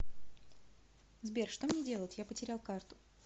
сбер что мне делать я потерял карту